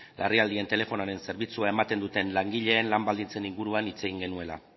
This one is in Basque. larrialdien telefonoaren zerbitzua ematen duten langileen lan baldintzen inguruan hitz egin genuela hain